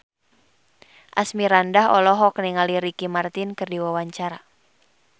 Asmirandah olohok ningali Ricky Martin keur diwawancara